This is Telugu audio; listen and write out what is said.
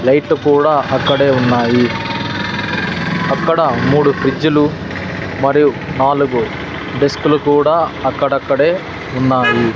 లైట్లు కూడా అక్కడే ఉన్నాయి అక్కడ మూడు ఫ్రిజ్లు మరియు నాలుగు డెస్కులు కూడా అక్కడక్కడే ఉన్నాయి.